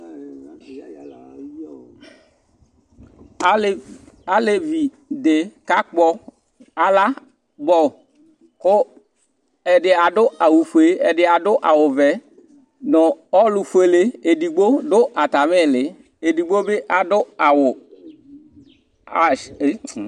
Alevi di kakpɔ alabɔ kʋ ɛdí adu fʋe ɛdí adu awu vɛ nʋ ɔlu fʋele ɛdigbo ɔdu atami ili Ɛdigbo bi adu awu ''H"